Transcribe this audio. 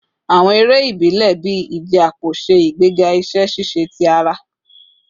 Awọn ere ibile bii ije apo ṣe igbega iṣẹ ṣiṣe ti ara